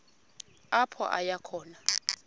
apho aya khona